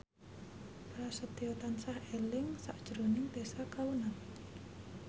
Prasetyo tansah eling sakjroning Tessa Kaunang